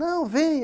Não, vem.